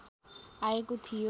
आएको थियो